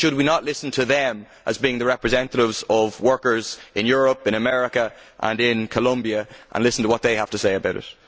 Should we not listen to them as being the representatives of workers in Europe, in America and in Colombia, and listen to what they have to say about it?